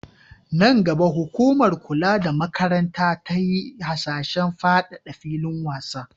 Nan gaba, hukumar kula da makaranta ta yi hasashen fadada filin wasan.